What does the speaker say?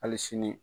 Hali sini